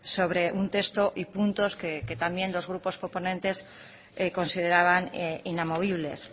sobre un texto y puntos que también los grupos proponentes consideraban inamovibles